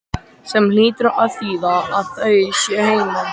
Sem hlýtur að þýða að þau séu heima.